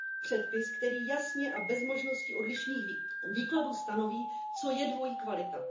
EU. Předpis, který jasně a bez možnosti odlišných výkladů stanoví, co je dvojí kvalita.